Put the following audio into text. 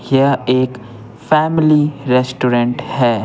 यह एक family restaurant है।